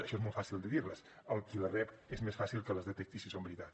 això és molt fàcil de dir les el qui les rep és més fàcil que les detecti si són veritat